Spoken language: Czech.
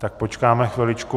Tak počkáme chviličku.